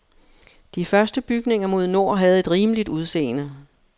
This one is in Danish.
De første bygninger mod nord havde et rimeligt udseende.